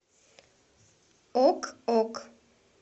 ок ок